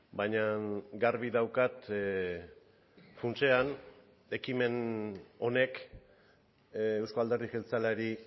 baina garbi daukat funtsean ekimen honek eusko alderdi jeltzaleari